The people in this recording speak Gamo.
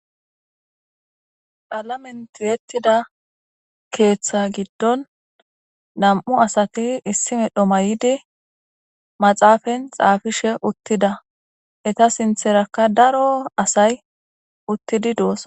Qalame ti'etida ketha giidon na'mu sati na'ati issi medho mayidi maxapeni xapishe utida etape sintha daro asay uttidi do'sona